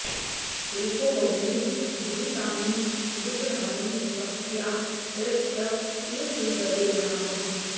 एको बहुनि दुरितानि उदुतराणि भक्त्या प्रयुक्त इव शूलधरे प्रणामः